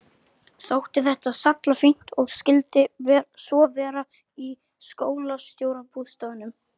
Þótti þetta sallafínt og skyldi svo vera í skólastjórabústaðnum.